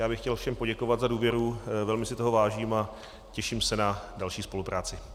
Já bych chtěl všem poděkovat za důvěru, velmi si toho vážím a těším se na další spolupráci.